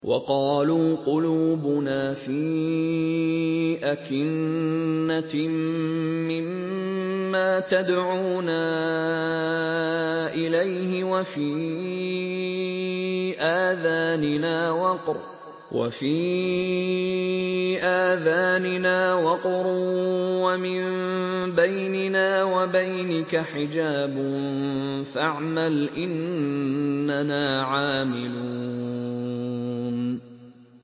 وَقَالُوا قُلُوبُنَا فِي أَكِنَّةٍ مِّمَّا تَدْعُونَا إِلَيْهِ وَفِي آذَانِنَا وَقْرٌ وَمِن بَيْنِنَا وَبَيْنِكَ حِجَابٌ فَاعْمَلْ إِنَّنَا عَامِلُونَ